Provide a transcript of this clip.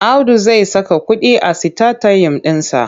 Audu zai saka kuɗi a sitatayim ɗinsa.